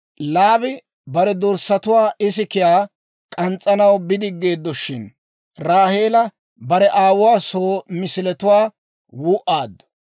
Laabi bare dorssatuwaa isikiyaa k'ans's'anaw bidigeeddoshin, Raaheela bare aawuwaa soo misiletuwaa wuu'aaddu.